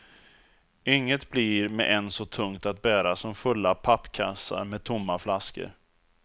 Inget blir med ens så tungt att bära som fulla pappkassar med tomma flaskor.